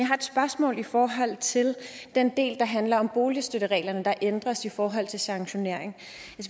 har et spørgsmål i forhold til den del der handler om boligstøttereglerne der ændres i forhold til sanktionering